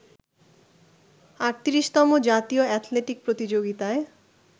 ৩৮তম জাতীয় অ্যাথলেটিক প্রতিযোগিতায়